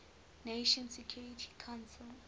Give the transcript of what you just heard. nations security council